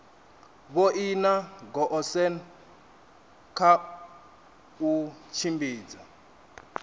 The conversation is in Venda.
vhoina goosen kha u tshimbidza